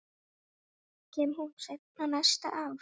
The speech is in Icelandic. Kemur hún seinna næsta ár?